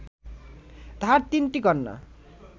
তাঁহার তিনটি কন্যা